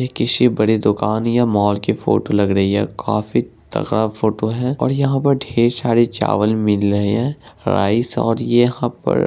ये किसी बड़े दुकान या मॉल की फोटो दिख लग है काफी तगड़ा फोटो है| और यहां पर ढेर सारे चावल मिल रहे हैं राइस और ये यहां पर